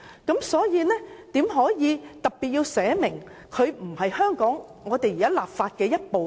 因此，怎可以特別訂明《合作安排》不屬香港法律的一部分？